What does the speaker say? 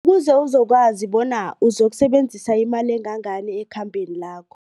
Kuze uzokwazi bona uzokusebenzisa imali engangani ekhambeni lakho.